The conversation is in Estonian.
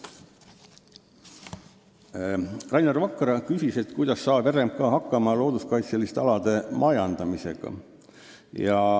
Rainer Vakra küsis, kuidas saab RMK hakkama looduskaitseliste alade majandamisega.